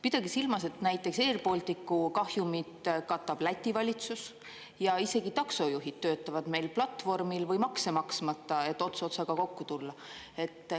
Pidage silmas, et näiteks airBalticu kahjumit katab Läti valitsus ja isegi taksojuhid töötavad meil platvormil või makse maksmata, et ots otsaga kokku tulla.